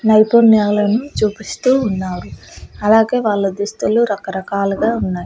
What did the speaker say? నైపుణ్యాలను చూపిస్తూ ఉన్నారు అలాగే వాళ్ళ దుస్తులు రకరకాలుగా ఉన్నాయి.